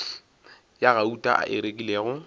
ya gauta a e rekilego